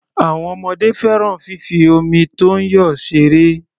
Àwọn ọmọdé fẹ́ràn fífi omi tó ń yọ ṣeré.